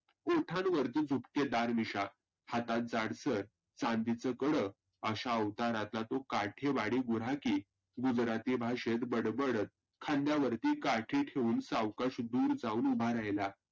ओठांवरती झुपकेदार मिश्या, हातात जाडसर चांदिचं कडं, अशा आवताराचा तो काठेवाडी गुराखी गुजराती भाषेत बडबडत खांद्यावर काठ्याठेवून सावकाश उभा राहीला.